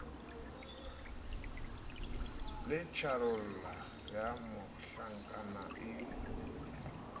le tjharola ya mohlankana e